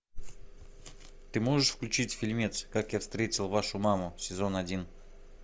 ты можешь включить фильмец как я встретил вашу маму сезон один